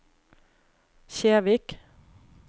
Kjevik